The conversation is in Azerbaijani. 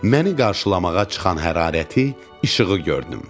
Məni qarşılamağa çıxan hərarəti, işığı gördüm.